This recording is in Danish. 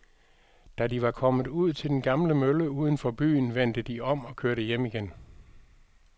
Da de var kommet ud til den gamle mølle uden for byen, vendte de om og kørte hjem igen.